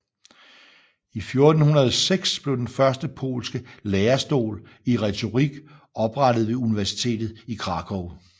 I 1406 blev den første polske lærestol i retorik oprettet ved universitetet i Krakow